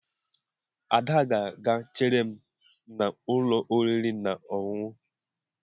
Ada ga-aga chere m n'ụlọ oriri na ọṅụṅụ